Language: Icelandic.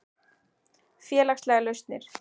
Félagslegar lausnir